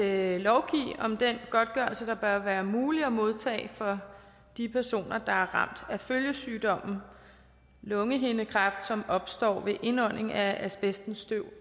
at lovgive om den godtgørelse der bør være mulig at modtage for de personer der er ramt af følgesygdommen lungehindekræft som opstår ved indånding af asbestens støv